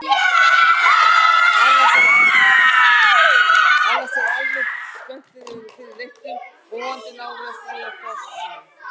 Annars eru menn almennt spenntir fyrir leiknum og vonandi náum við að stríða Þórsurunum.